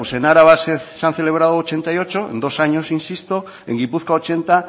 pues en álava se han celebrado ochenta y ocho en dos años insisto en gipuzkoa ochenta